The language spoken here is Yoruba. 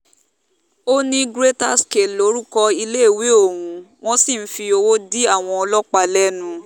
ó ní greater scal lorúkọ iléèwé ohùn wọ́n sì ti ń fi owó dí àwọn ọlọ́pàá lẹ́nu